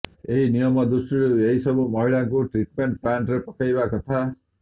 ନିୟମ ଦୃଷ୍ଟିରୁ ଏହି ସବୁ ମଇଳାକୁ ଟ୍ରିଟ୍ମେଣ୍ଟ୍ ପ୍ଲାଣ୍ଟ୍ରେ ପକେଇବା କଥା